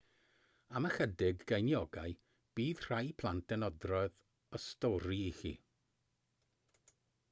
am ychydig geiniogau bydd rhai plant yn adrodd y stori i chi